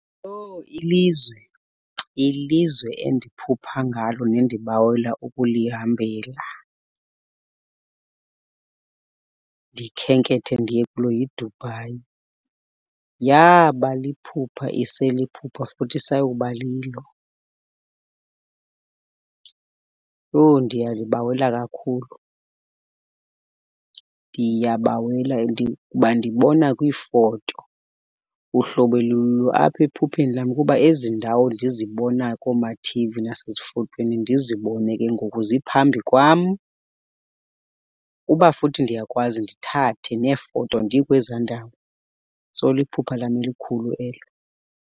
Owu! Ilizwe, ilizwe endiphupha ngalo nendibawela ukulihambela ndikhenkethe ndiye kulo yiDubai. Yaaba liphupha iseliphupha futhi isayoba lilo. Owu, ndiyalibawela kakhulu, ndiyabawela, ndibona kwiifoto uhlobo elulo apha ephupheni lam kuba ezi ndawo ndizibona koomathivi nasezifotweni ndizibone ke ngoku ziphambi kwam, uba futhi ndiyakwazi ndithathe neefoto ndikweza ndawo. So, liphupha lam elikhulu elo.